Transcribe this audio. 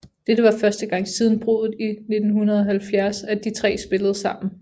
Dette var første gang siden bruddet i 1970 at de tre spillede sammen